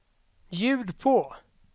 ljud på